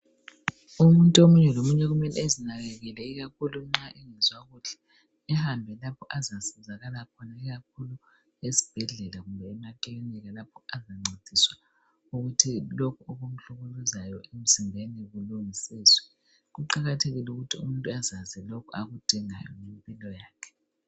Umuntu omunye lomunye kumele ezinakekele ikakhulu nxa engezwa kuhle ehambe lapho azasizakala khona ikakhulu ezibhedlela kumbe emacliniki lapho azanvediswa ukuthi lokhu okumhlukuluzayo emzimbeni kulungisiswe. Kuqakathekile ukuthi umuntu azenzele lokhu akudingayo ngempilo yakhe.